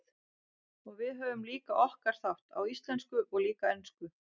Og við höfum líka okkar þátt, á íslensku og líka ensku.